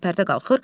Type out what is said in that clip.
Pərdə qalxır.